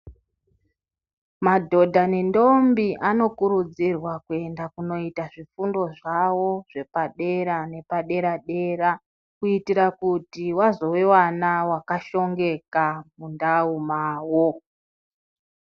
Madhodha nendombi anokurudzirwa kuenda kundoita zvifundo zvawo zvepadera nepadera-dera kuitira kuti wazoiwana wakashongeka mundau mawo.